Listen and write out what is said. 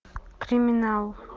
криминал